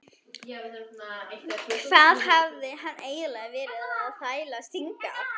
Hvað hafði hann eiginlega verið að þvælast hingað?